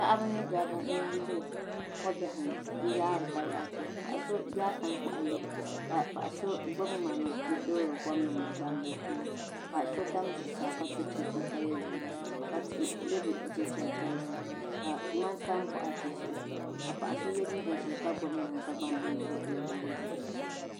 Paɣaba mini dabba n laɣam bu ko biɛɣu ni n yaari bayaɣati paɣa so yaai tankpaɣu yurina ka paɣa so gbubi ŋmani n toori kom niŋdi gbambili puuni ka so tam zuɣusaa ka so chinchin ka yɛ liiga ka tihi ʒɛ bi ni bɛ shɛli polo maa ka ŋmani tam boɣati zuɣu ka paɣa so yɛ liiga ʒiɛ ka gbubi ŋmani ka gbambili ʒɛ o luɣuli zuɣu